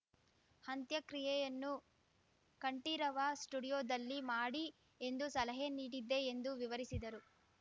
ಅಂತ್ಯಕ್ರಿಯೆಯನ್ನು ಕಂಠೀರವ ಸ್ಟುಡಿಯೋದಲ್ಲಿ ಮಾಡಿ ಎಂದು ಸಲಹೆ ನೀಡಿದ್ದೆ ಎಂದು ವಿವರಿಸಿದರು